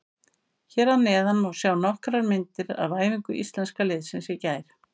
Hér að neðan má sjá nokkrar myndir af æfingu Íslenska liðsins í gær.